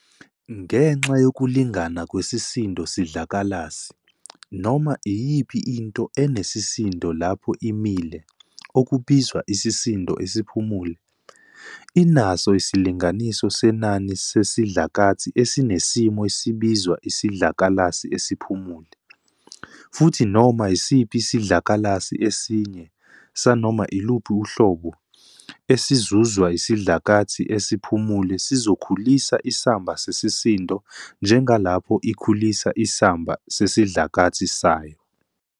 Ngenxa yokulingana kwesisindo-sidlakalasi, noma iyiphi into enesisindo lapho imile, okubizwa isisindo esiphumule, inaso isilinganiso senani sesidlakathi esinesimo esibizwa isidlakalasi esiphumule, futhi noma isiphi isidlakalasi esinye, sanoma iluphi uhlobo, esizuzwa isidlakathi esiphumule sizokhulisa isamba sesisindo njengalapho ikhulisa isamba sesidlakathi sayo.